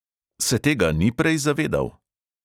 Se tega ni prej zavedal?